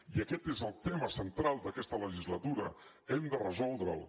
i aquest és el tema central d’aquesta legislatura hem de resoldre’l